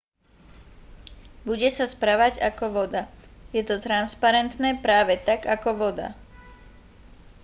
bude sa správať ako voda je to transparentné práve tak ako voda